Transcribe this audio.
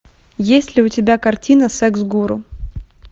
есть ли у тебя картина секс гуру